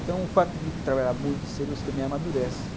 Então, o fato de trabalhar muito cedo, você também amadurece.